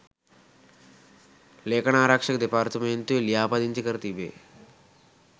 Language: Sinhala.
ලේඛනාරක්ෂක දෙපාර්තමේන්තුවේ ලිියාපදිංචි කර තිබෙ